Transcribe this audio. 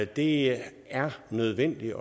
det er nødvendigt